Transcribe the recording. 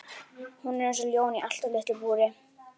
Hún er eins og ljón í allt of litlu búri!